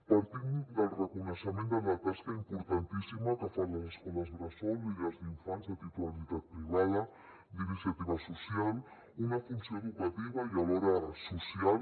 partim del reconeixement de la tasca importantíssima que fan les escoles bressol i llars d’infants de titularitat privada i d’iniciativa social una funció educativa i alhora social